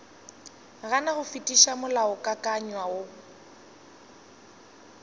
gana go fetiša molaokakanywa wo